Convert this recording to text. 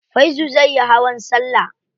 Faizu zai yi hawan salla.